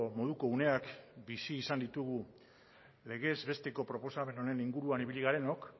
moduko uneak bizi izan ditugu legez besteko proposamen honen inguruan ibili garenok